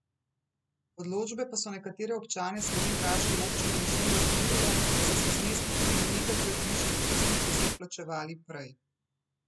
Odločbe pa so nekatere občane slovenjgraške občine močno razburile, saj so zneski tudi do nekajkrat višji od tistih, ki so jih plačevali prej.